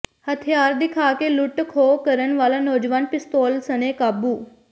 ਹਥਿਆਰ ਦਿਖਾ ਕੇ ਲੁੱਟ ਖੋਹ ਕਰਨ ਵਾਲਾ ਨੌਜਵਾਨ ਪਿਸਤੌਲ ਸਣੇ ਕਾਬੂ